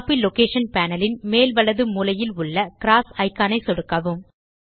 copy location panel ன் மேல் வலது மூலையில் உள்ள க்ராஸ் இக்கான் ஐ சொடுக்கவும்